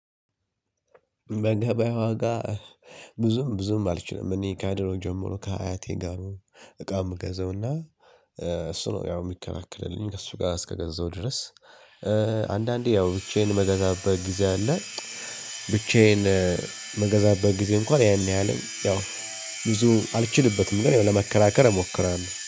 በገበያ ዋጋ ብዙም ብዙም አልችልም። እኔ ከድሮ ጀምሮ ከአያቴ ጋ ነው። እቃ ምገዛውና እሱ ነው ያው እሚከላከልልኝ ከእሱ ጋ እስከገዛው ድረስ። አንዳንዴ ያው ብቻዬን መገዛበት ጊዜ አለ። ብቻዬን መገዛበት ጊዜ እንኳን ያን ያህልም ያው ብዙ አልችልበትም። ግን ያው ለመከራከር እሞክራለሁ